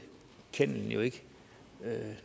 kennelejerne jo ikke